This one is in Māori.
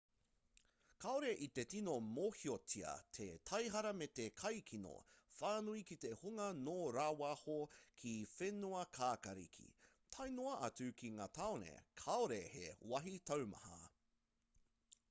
kāore i te tino mōhiotia te taihara me te kaikino whānui ki te hunga nō rāwaho ki whenuakākāriki tae noa atu ki ngā tāone kāore he wāhi taumaha